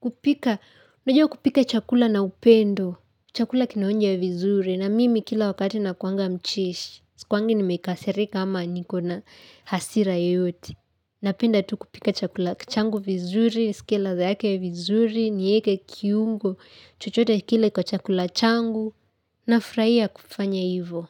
kupika. Najua kupika chakula na upendo. Chakula kinaonja vizuri na mimi kila wakati nakuanga mcheshi. Sikuwangi nimekasirika ama niko na hasira yoyote. Napinda tu kupika chakula changu vizuri, nsikie ladha yake vizuri, nieke kiungo, chochote kile kwa chakula changu nafraia kufanya hivo.